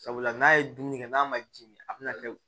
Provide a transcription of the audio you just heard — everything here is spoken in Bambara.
Sabula n'a ye dumuni kɛ n'a ma ji min a bɛna kɛ